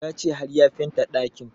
Ya ce har ya fenta ɗakin